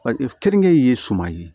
keninge ye suman ye